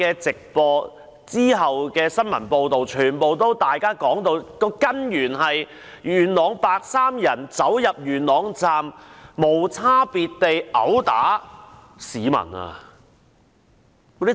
直播及其後的新聞片段全都直指事件源於元朗的白衣人走進元朗站無差別地毆打市民。